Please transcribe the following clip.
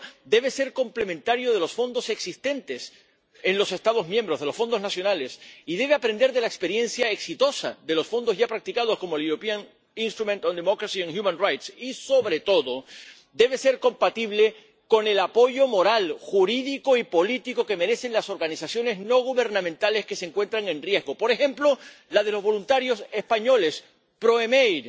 Pero debe ser complementario de los fondos existentes en los Estados miembros, de los fondos nacionales, y debe aprender de la experiencia exitosa de los fondos ya practicados, como el European Instrument for Democracy and Human Rights y, sobre todo, debe ser compatible con el apoyo moral, jurídico y político que merecen las organizaciones no gubernamentales que se encuentran en riesgo, por ejemplo la de los voluntarios españoles Proem AID